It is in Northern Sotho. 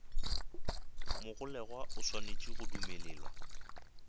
mogolegwa o swanetše go dumelelwa